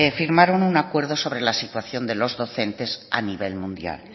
firmaron un acuerdo sobre las docentes a nivel mundial